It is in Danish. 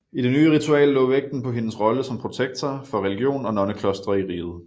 I det nye ritual lå vægten på hendes rolle som protektor for religion og nonneklostre i riget